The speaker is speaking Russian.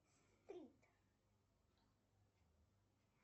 стрит